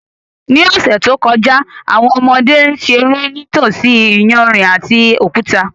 Ní ọ̀sẹ̀ tó kọjá, àwọn ọmọdé ń ṣeré nítòsí iyanrìn àti òkúta